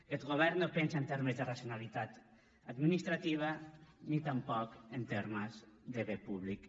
aquest govern no pensa en termes de racionalitat administrativa ni tampoc en termes de bé públic